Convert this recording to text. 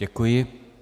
Děkuji.